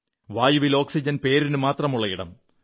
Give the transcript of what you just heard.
വായുവിൽ ഓക്സിജൻ പേരിനുമാത്രം ഉള്ള ഇടം